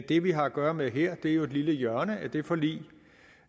det vi har at gøre med her er jo et lille hjørne af det forlig